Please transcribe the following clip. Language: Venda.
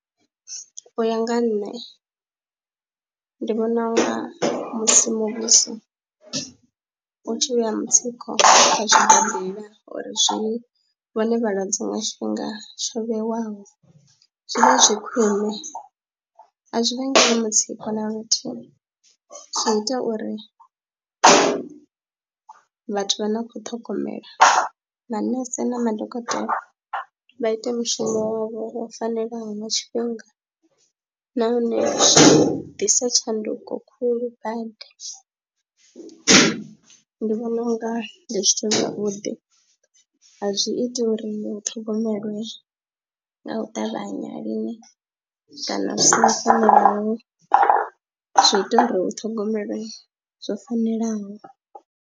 U ya nga ha nṋe ndi vhona u nga musi muvhuso u tshi vhea mutsiko kha zwsibadela uri zwi vhone vhalwadze nga tshifhinga tsho vhewaho zwi vha zwi khwine, a zwi vhangeli mutsiko na luthihi, zwi ita uri a vhathu vha no khou ṱhogomela manese na madokotela vha ite mushumo wavho wo fanelaho nga tshifhinga nahone zwi ḓisa tshanduko khulu badi. Ndi vhona u nga ndi zwithu zwavhuḓi, a zwi ita uri u ṱhogomele nga u ṱavhanya lini kana zwi songo fanelaho, zwi ita uri hu ṱhogomele zwo fanelaho.